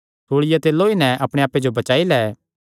सूल़िया ते लौई नैं अपणे आप्पे जो बचाई लै